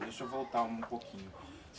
Deixa eu voltar um pouquinho.